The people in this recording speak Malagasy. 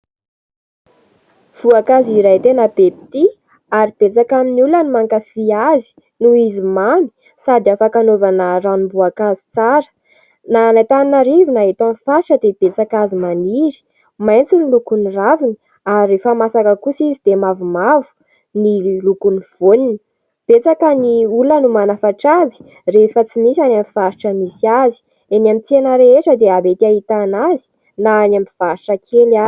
Voankazo iray tena be mpitia ary betsaka amin'ny olona no mankafỳ azy noho izy mamy sady afaka anaovana ranomboankazo tsara. Na any Antananarivo na eto amin'ny faritra dia betsaka azy maniry. Maitso ny lokon'ny raviny ary rehefa masaka kosa izy dia mavomavo ny lokon'ny voaniny. Betsaka ny olona no manafatra azy rehefa tsy misy any amin'ny faritra misy azy. Eny amin'ny tsena rehetra dia mety ahitana azy na any amin'ny tsena kely ary.